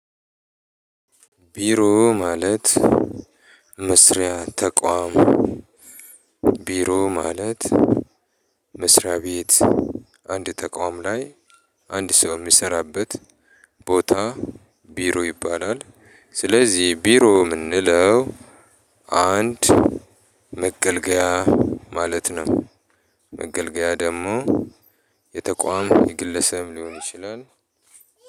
ቢሮ ማለት መስሪያ ተቋም ቢሮ ማለት መስሪያ ቤት። አንድ ተቃውም ላይ አንድ ሰው የሚሰራበት ቦታ ቢሮ ይባላል። ስለዚህ ቢሮ ልንለው አንድ መገልገያ ማለት ነው። መገልገያ ደግሞ የተቋም የግለሰብ ሊሆን ይችላል።